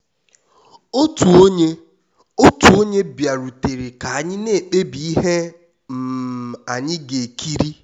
otu onye otu onye bịarutere ka anyị na-ekpebi ihe um anyị ga-ekiri.